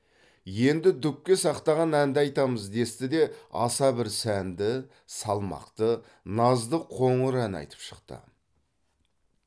енді дүпке сақтаған әнді айтамыз десті де аса бір сәнді салмақты назды қоңыр ән айтып шықты